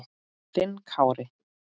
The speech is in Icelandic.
Þinn Kári.